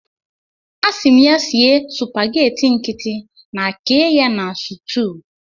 Asịrị m ya sie supageti nkịtị na kee ya na sutuu.